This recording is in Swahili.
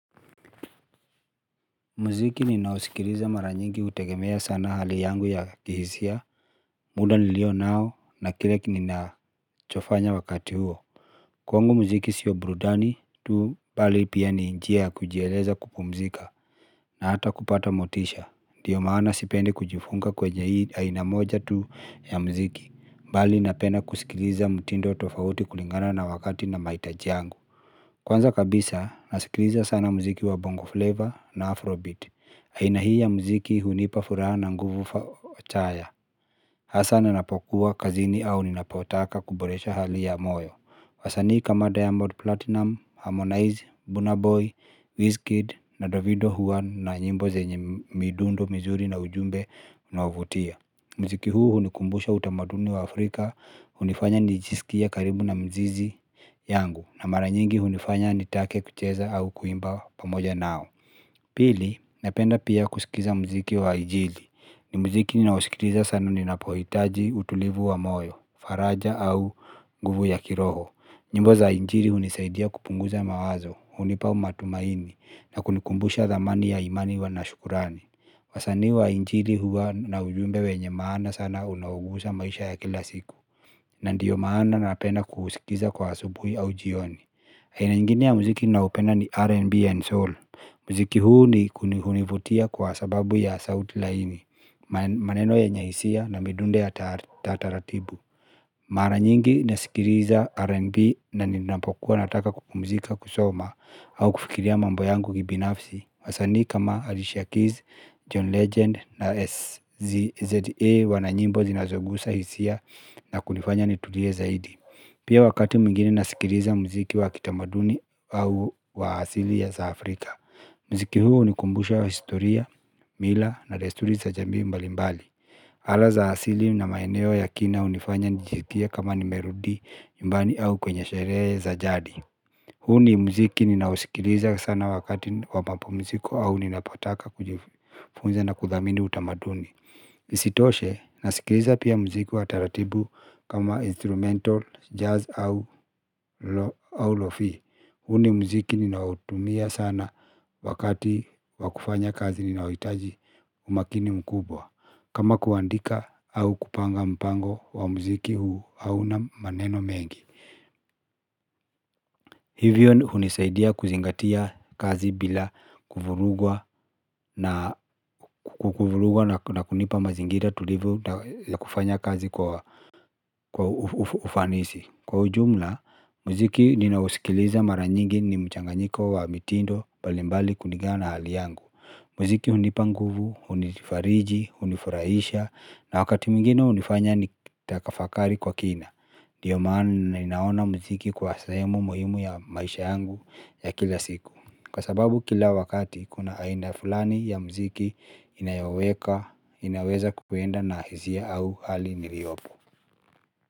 Mziki ninausikiliza mara nyingi hutegemea sana hali yangu ya kihisia, muda nilio nao na kile ninachokifanya wakati huo. Kwangu mziki sio burudani, tu bali pia ni njia kujieleza kupumzika na hata kupata motisha. Ndiyo maana sipendi kujifunga kwenye hii aina moja tu ya mziki. Bali napenda kusikiliza mtindo tofauti kulingana na wakati na mahitaji yangu. Kwanza kabisa, nasikiliza sana mziki wa bongo flavor na afrobeat. Aina hii ya mziki hunipa furaha na nguvu chaya. Hasa ninapokuwa kazini au ninapotaka kuboresha hali ya moyo. Wasanii kama Diamond Platinum, Harmonize, Burnaboy, Wizkid na Davido huwa na nyimbo zenye midundo mizuri na ujumbe unaovutia. Mziki huu hunikumbusha utamaduni wa Afrika. Hunifanya nijisikia karibu na mzizi yangu. Na mara nyingi hunifanya nitake kucheza au kuimba pamoja nao. Pili, napenda pia kusikiza mziki wa injili. Ni mziki ninaosikiliza sana ninapohitaji, utulivu wa moyo, faraja au nguvu ya kiroho. Nyimbo za injili hunisaidia kupunguza mawazo, hunipa matumaini, na kunikumbusha dhamani ya imani iwe nashukrani. Wasanii wa injili huwa na ujumbe wenye maana sana unaogusa maisha ya kila siku. Na ndiyo maana napenda kuusikiza kwa asubuhi au jioni. Aina ngini ya mziki ninaupenda ni R&B and Soul. Mziki huu hunivutia kwa sababu ya sauti laini. Maneno yenye hisia na midundo ya taratibu. Mara nyingi nasikiliza R&B na ninapokuwa nataka kupumzika kusoma au kufikiria mambo yangu kibinafsi. Wasani kama Alicia Keys, John Legend na SZA. Wananyimbo zinazogusa hisia na kunifanya nitulie zaidi. Pia wakati mwingine nasikiliza mziki wa kitamaduni au wa asili ya za Afrika. Mziki huu hunikumbusha historia, mila na desturi za jamii mbalimbali. Ala za asili na maeneo ya kina hunifanya nijisikie kama nimerudi nyumbani au kwenye sherehe za jadi. Huu ni mziki ninaosikiliza sana wakati wa mapumziko au ninapotaka kujifunza na kuthamini utamaduni isitoshe nasikiliza pia mziki wa taratibu kama instrumental, jazz au lofi. Huu ni mziki ninautumia sana wakati wa kufanya kazi ninaohitaji umakini mkubwa. Kama kuandika au kupanga mpango wa mziki huu hauna maneno mengi. Hivyo hunisaidia kuzingatia kazi bila kuvurugwa na kunipa mazingira tulivu ya kufanya kazi kwa ufanisi. Kwa ujumla, mziki ninausikiliza mara nyingi ni mchanganyiko wa mitindo mbalimbali kulingana na hali yangu. Mziki hunipa nguvu, hunifariji, hunifurahisha na wakati mgwingine hunifanya nitafakari kwa kina. Ndiyo maana ninaona mziki kuwa sehemu muhimu ya maisha yangu ya kila siku kwa sababu kila wakati kuna aina fulani ya mziki inayoweka, inaweza kuenda na hisia au hali niliopo.